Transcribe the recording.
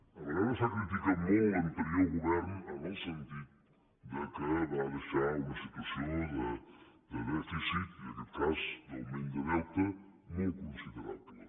a vegades s’ha criticat molt l’anterior govern en el sentit que va deixar una situació de dèficit i en aquest cas d’augment de deute molt considerable